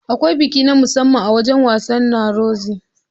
Akwai biki na musamman a wajan wasan na Rozi